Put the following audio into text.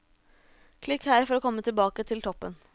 Klikk her for å komme tilbake til toppen.